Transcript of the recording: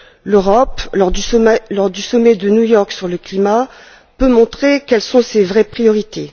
L'Europe, lors du sommet de New York sur le climat, peut montrer quelles sont ses vraies priorités.